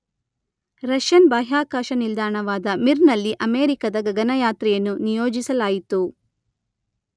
Russian ಬಾಹ್ಯಾಕಾಶ ನಿಲ್ದಾಣವಾದ ಮಿರ್‌ನಲ್ಲಿ ಅಮೇರಿಕದ ಗಗನಯಾತ್ರಿಯನ್ನು ನಿಯೋಜಿಸಲಾಯಿತು